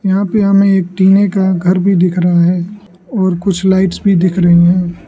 यहां पे हमें एक टिने का घर भी दिख रहा है और कुछ लाइट्स भी दिख रही हैं।